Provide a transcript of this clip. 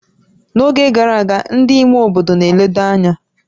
N'oge gara aga, ndị ime obodo na-eledo anya